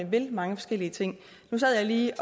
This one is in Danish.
vil mange forskellige ting nu sad jeg lige